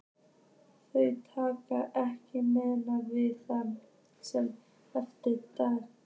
Þau talast ekki meira við það sem eftir er dagsins.